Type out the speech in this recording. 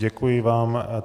Děkuji vám.